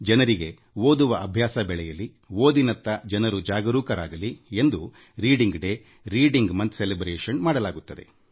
ಜನರಿಗೆ ಓದುವ ಅಭ್ಯಾಸ ಬೆಳೆಯಲಿ ಓದಿನತ್ತ ಜನರು ಜಾಗೃತರಾಗಲಿ ಎಂದು ಓದುವ ದಿನ ಓದಿನ ಮಾಸ ಆಚರಿಸಲಾಗುತ್ತದೆ